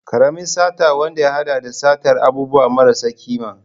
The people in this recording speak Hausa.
Karamin sata wanda ya hada da satar abubuwa marasa kima.